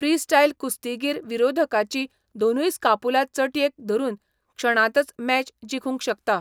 Freestyle कुस्तीगीर विरोधकाची दोनूय स्कापुला चटयेक धरून क्षणांतच मॅच जिखूंक शकता.